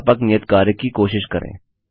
इस व्यापक नियत कार्य की कोशिश करें